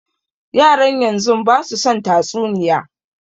Yaran yanzun basu son tatsuniya